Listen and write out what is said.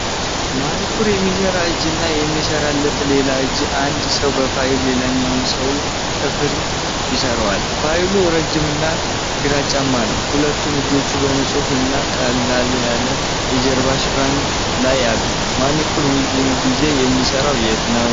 ማኒኩር የሚሰራ እጅ እና የሚሰራለት ሌላ እጅ። አንድ ሰው በፋይል ሌላኛውን ሰው ጥፍር ይስለዋል። ፋይሉ ረጅም እና ግራጫማ ነው። ሁለቱም እጆች በንጹህ እና ቀለል ያለ የጀርባ ሽፋን ላይ አሉ። ማኒኩር ብዙውን ጊዜ የሚሰራው የት ነው?